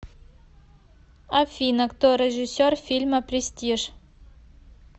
афина кто режиссер фильма престиж